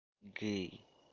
гей